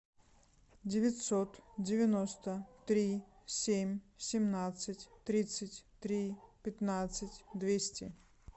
девятьсот девяносто три семь семнадцать тридцать три пятнадцать двести